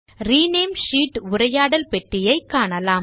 rename sheet உரையாடல் பெட்டியை காணலாம்